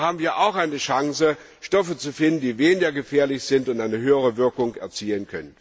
Da haben wir auch eine Chance, Stoffe zu finden, die weniger gefährlich sind und eine höhere Wirkung erzielen können.